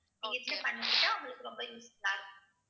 நீங்க இதுல பண்ணிக்கிட்டா உங்களுக்கு ரொம்ப useful ஆ இருக்கும்.